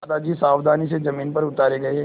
दादाजी सावधानी से ज़मीन पर उतारे गए